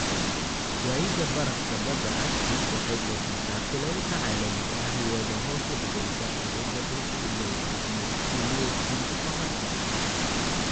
Waayida barafka badda Arctic waxay kordhisaa kulaylka caalamiga ah iyadoo hoos u dhigaysa awoodda dhulku u leeyahay inuu iftiimiyo iftiinka qorraxda.